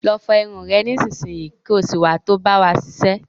Lọ fọ irun rẹ nísinsìnyí, ko sì wá to bá wa ṣiṣẹ́.